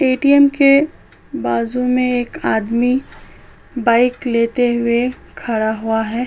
ATM. के बाजू में एक आदमी बाईक लेते हुए खड़ा हुआ है।